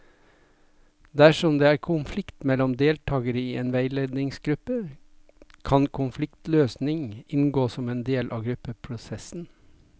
Dersom det er konflikt mellom deltakere i en veiledningsgruppe, kan konfliktløsning inngå som en del av gruppeprosessen.